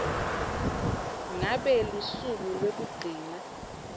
ngabe lusuku lwekugcina